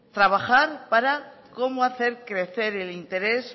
trabajar para cómo hacer crecer el interés